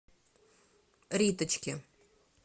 риточке